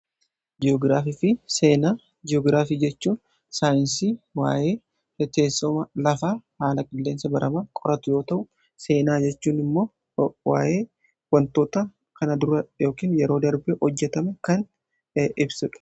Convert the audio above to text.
gi'ograaf fi seenaa jiyogiraafii jechuun saayinsii waa’ee haalateessuma lafaa, haala qilleensa barama qoratu yoo ta'u seenaa jechuun immoo waa’ee wantoota kana dura kn yeroo darbii hojjatama kan ibsudha